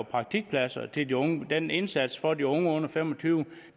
er praktikpladser til de unge den indsats for de unge under fem og tyve